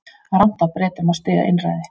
Rangt af Bretum að styðja einræði